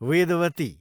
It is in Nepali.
वेदवती